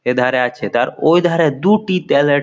এধারে আছে তার। ওই ধারে দু-উটি ত্যালের --